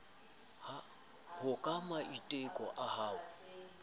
ho ka maiteko a ho